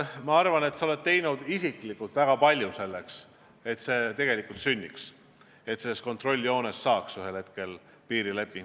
Ma arvan, et sa oled teinud isiklikult väga palju selleks, et see tegelikult sünniks, et kontrolljoonest saaks ühel hetkel piirijoon.